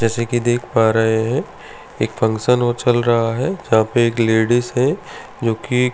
जैसे कि देख पा रहे हैं एक फंक्शन और चल रहा है जहां पर एक लेडिस है जो की--